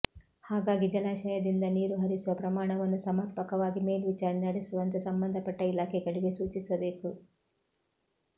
ಹಾಗಾಗಿ ಜಲಾಶಯದಿಂದ ನೀರು ಹರಿಸುವ ಪ್ರಮಾಣವನ್ನು ಸಮರ್ಪಕವಾಗಿ ಮೇಲ್ವಿಚಾರಣೆ ನಡೆಸುವಂತೆ ಸಂಬಂಧಪಟ್ಟ ಇಲಾಖೆಗಳಿಗೆ ಸೂಚಿಸಬೇಕು